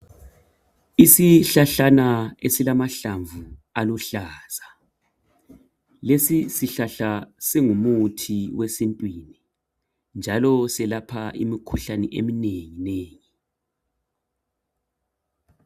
Isihlahlana esilamahlamvu aluhlaza. Lesi sihlahla singumuthi wesintwini njalo selapha imikhuhlane eminenginengi.